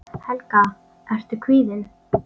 Helga: Ertu kvíðinn?